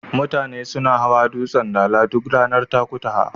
Mutane suna hawa dutsen Dala duk ranar Takutaha.